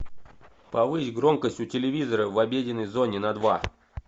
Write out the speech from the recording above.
повысь громкость у телевизора в обеденной зоне на два